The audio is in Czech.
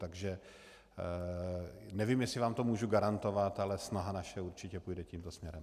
Takže nevím, jestli vám to můžu garantovat, ale naše snaha určitě půjde tímto směrem.